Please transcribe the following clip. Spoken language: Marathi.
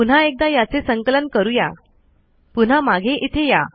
पुन्हा एकदा याचे संकलन करूयापुन्हा मागे इथे या